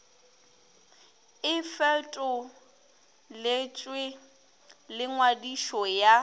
e fetoletšwe le ngwadišo ya